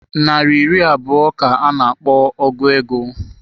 Nari iri abụọ ka a na-akpọ ọgu ego.